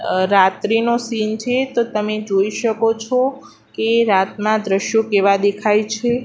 અ રાત્રીનો સીન છે તો તમે જોઈ શકો છો કે રાતના દ્રશ્યો કેવા દેખાય છે.